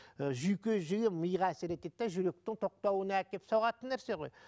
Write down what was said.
і жүйке жүйге миға әсер етеді де жүректің тоқтауына әкеліп соғатын нәрсе ғой